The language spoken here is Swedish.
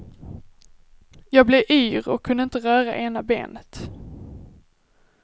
Jag blev yr och kunde inte röra ena benet.